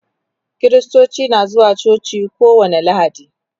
kristoci na zuwa coci kowani lahadi